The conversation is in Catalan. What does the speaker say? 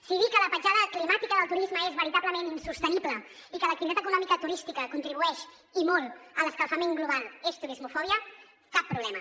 si dir que la petjada climàtica del turisme és veritablement insostenible i que l’activitat econòmica turística contribueix i molt a l’escalfament global és turismofòbia cap problema